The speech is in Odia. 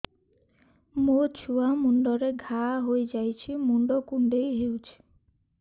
ମୋ ଛୁଆ ମୁଣ୍ଡରେ ଘାଆ ହୋଇଯାଇଛି ମୁଣ୍ଡ କୁଣ୍ଡେଇ ହେଉଛି